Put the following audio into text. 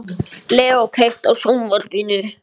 Leo, kveiktu á sjónvarpinu.